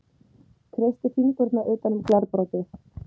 Kreisti fingurna utan um glerbrotið.